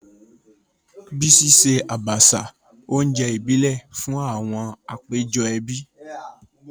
Bísí ṣe Àbàṣà, oúnjẹ ìbílẹ̀, fún àwọn àpéjọ ẹbí.